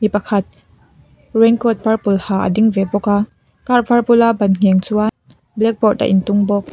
pakhat raincoat purple ha a ding ve bawk a car var bulah ban ngheng chuan blackboard a in tung bawk.